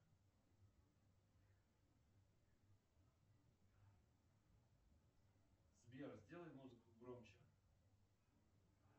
сбер сделай музыку громче